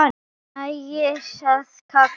Mér nægir að kalla.